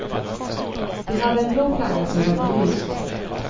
Vi hade en blå flagga som var belyst.